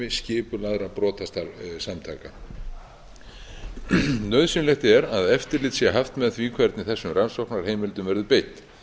liður í starfsemi skipulagðra brotasamtaka nauðsynlegt er að eftirlit sé haft með því hvernig þessum rannsóknarheimildum eru beitt